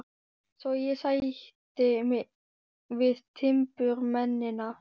Svo ég sætti mig við timburmennina.